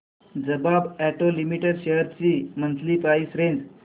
Bajaj auto limited shares ची monthly price range